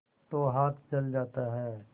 तो हाथ जल जाता है